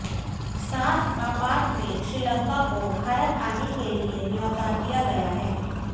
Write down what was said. साथ आपात में श्रीलंका को भारत आने के लिए न्योता दिया गया है